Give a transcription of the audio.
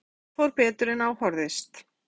Lillý Valgerður: En þetta fór betur en á horfðist?